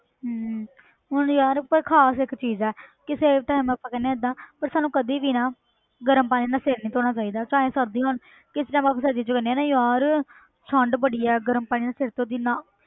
ਹਮ ਹੁਣ ਯਾਰ ਪਰ ਖ਼ਾਸ ਇੱਕ ਚੀਜ਼ ਹੈ ਕਿਸੇ time ਆਪਾਂ ਕਹਿੰਦੇ ਹਾਂ ਏਦਾਂ ਪਰ ਸਾਨੂੰ ਕਦੇ ਵੀ ਨਾ ਗਰਮ ਪਾਣੀ ਨਾਲ ਸਿਰ ਨੀ ਧੋਣਾ ਚਾਹੀਦਾ, ਚਾਹੇ ਸਰਦੀਆਂ ਹੋਣ ਕਿਸੇ time ਆਪਾਂ ਸਰਦੀ 'ਚ ਕਹਿੰਦੇ ਹਾਂ ਨਾ ਯਾਰ ਠੰਢ ਬੜੀ ਹੈ ਗਰਮ ਪਾਣੀ ਨਾਲ ਸਿਰ ਧੋ ਦੇਈਏ, ਨਾ